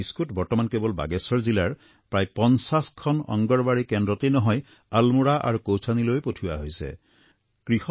এই বিস্কুট বৰ্তমান বাগেশ্বৰ জিলাৰ প্ৰায় ৫০খন অংগনৱাড়ী কেন্দ্ৰতেই নহয় আলমোড়া আৰু কৌছানীলৈও পঠিওৱাৰ ব্যৱস্থা কৰা হৈছে